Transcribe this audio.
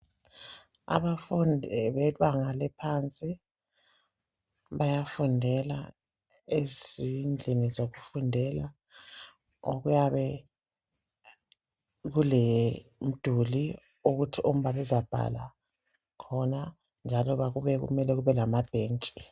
Abafundi bebanga eliphansi bayafundela ezindlini zokufundela okuyabe kulomduli ukuthi umbalisi abhale khona njalo kumele kube lamabhentshi.